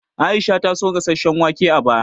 Aisha ta so gasasshen wake a baya